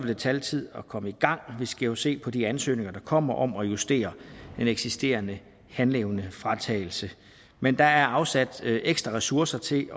det tage lidt tid at komme i gang vi skal jo se på de ansøgninger der kommer om at justere en eksisterende handleevnefratagelse men der er afsat ekstra ressourcer til